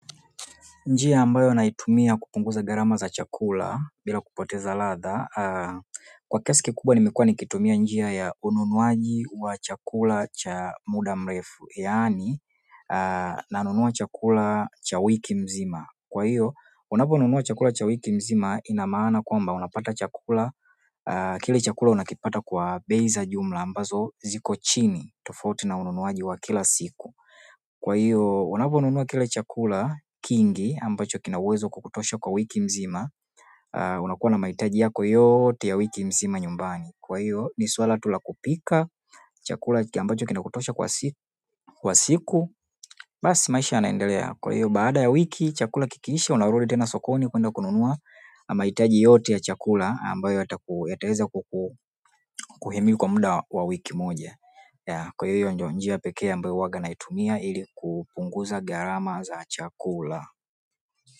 Njia ambayo naitumia kupunguza gharama za chakula bila kupoteza ladha. Kwa kiasi kikubwa nimekuwa nikitumia njia ya ununuaji wa chakula cha muda mrefu. Yaani nanunua chakula cha wiki mzima. Kwa hiyo, unaponunua chakula cha wiki nzima ina maana kwamba unapata chakula. Kile chakula unakipata kwa bei ya jumla ambayo iko chini tofauti na ununuzi wa kila siku. Kwa hiyo unaponunua kile chakula kingi ambacho kina uwezo wa kukutosha kwa wiki nzima, unakuwa na mahitaji yako yote ya wiki nzima nyumbani. Kwa hiyo ni suala tu la kupika chakula ambacho kinakutosha kwa siku. Basi maisha yanaendelea. Kwa hiyo, baada ya wiki chakula kikiisha, unarudi tena sokoni kwenda kununua mahitaji yote ya chakula ambayo yataweza kukuhimili kwa muda wa wiki moja. Kwa hiyo njia pekee ambayo watu hutumia ili kupunguza gharama za chakula.